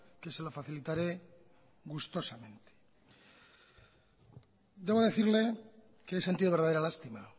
que se lo facilitare gustosamente debo decirle que he sentido verdadera lástima